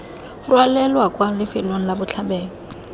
rwalelwa kwa lifelong la botlhabelo